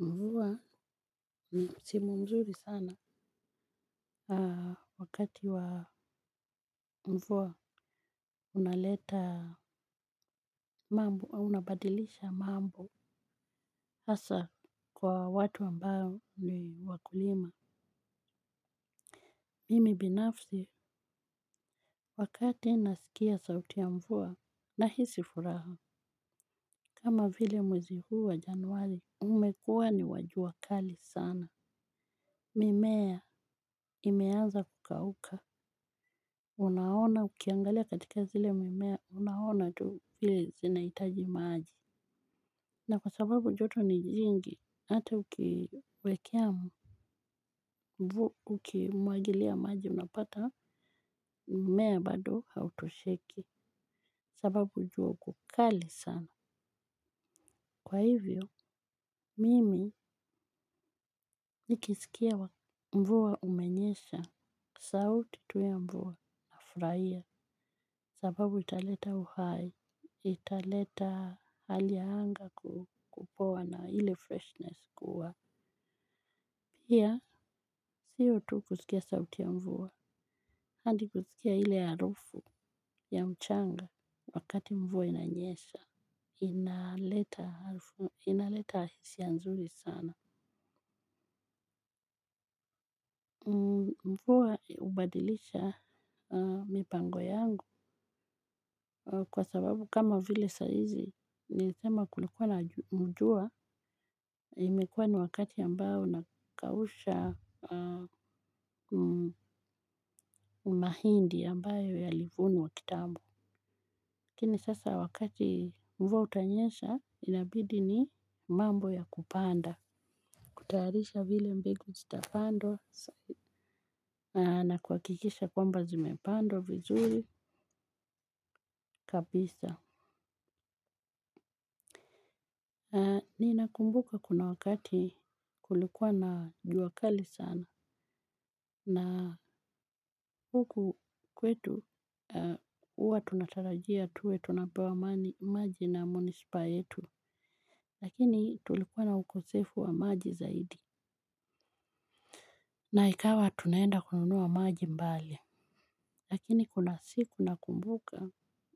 Mvua, ni msimu mzuri sana. Wakati wa mvua, unaleta mambo, unabadilisha mambo. Hasa kwa watu ambao ni wakulima. Mimi binafsi, wakati nasikia sauti ya mvua, nahisi furaha. Kama vile mwezi huu wa januali, umekua ni wa jua kali sana. Mimea, imeaza kukauka. Unaona ukiangalia katika zile mimea unaona tu vile zinaitaji maaji. Na kwa sababu joto ni jingi ata ukiwekea mvu ukimwagilia maji unapata mmea bado hautosheki. Sababu ujua uko kali sana. Kwa hivyo mimi nikiskia mvua umenyesha. Sauti tu ya mvua nafraia. Sababu italeta uhai, italeta hali ya anga kupoa na ile freshness kuwa pia, sio tu kusikia sauti ya mvua, handi kusikia ile harufu ya mchanga wakati mvua inanyesha. Inaleta harufu, inaleta hisia nzuri sana. Mvua ubadilisha mipango yangu. Kwa sababu kama vile saizi, nilithema kulikuwa na mujua. Imekua ni wakati ambao nakausha mahindi ambayo yalivunwa kitambo. Lakini sasa wakati mvua utanyesha inabidi ni mambo ya kupanda. Kutayarisha vile mbegu zitapandwa na kuakikisha kwamba zimepandwa vizuri kabisa. Ninakumbuka kuna wakati kulikua na jua kali sana. Na huku kwetu uwa tunatarajia tuwe tunapewa maji na munispa yetu. Lakini tulikua na ukosefu wa maji zaidi. Na ikawa tunaenda kununua maji mbali. Lakini kuna siku nakumbuka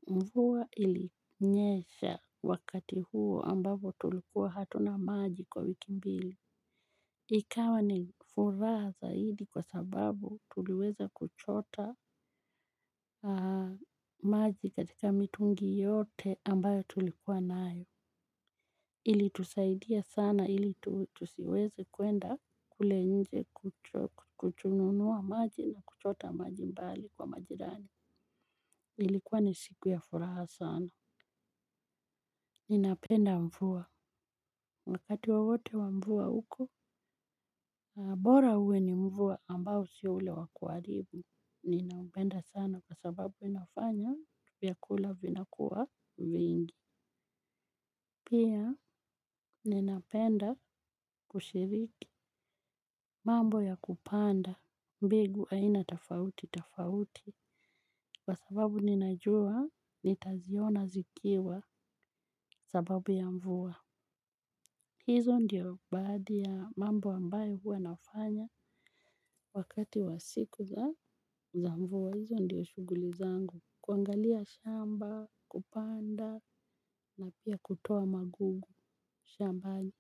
mvuwa ilinyesha wakati huo ambapo tulikuwa hatuna maji kwa wiki mbili. Ikawa ni furaha zaidi kwa sababu, tuliweza kuchota maji katika mitungi yote ambayo tulikuwa nayo. Ilitusaidia sana ili tusiweze kwenda kule nje kuchununua maji na kuchota maji mbali kwa majirani. Ilikuwa ni siku ya furaha sana. Ninapenda mvua. Wakati wowote wa mvua uko, bora uwe ni mvua ambao si ule wa kuaribu. Ninaumbenda sana kwa sababu inafanya vyakula vinakuwa vingi. Pia ninapenda kushiriki. Mambo ya kupanda. Mbegu aina tafauti tafauti. Kwa sababu ninajua nitaziona zikiwa sababu ya mvua. Hizo ndio baadhi ya mambo ambayo hua nafanya. Wakati wa siku za mvua hizo ndio shuguli zangu. Kuangalia shamba, kupanda na pia kutoa magugu, shambani.